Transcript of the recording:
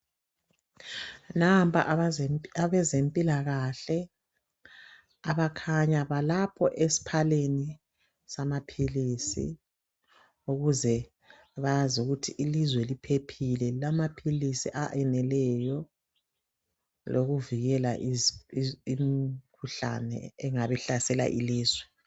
Nampa abezempilakahle abakhanya balapho esiphaleni samaphilisi ukuze bazi ukuthi ilizwe liphephile lilamaphilisi aneleyo lokuvikela imikhuhlane engaba ihlasela ilizwe.